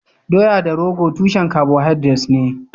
Doya da rogo tushen carbohydrates ne.